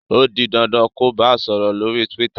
o dì dandan kò bá sòrò lórí twitter!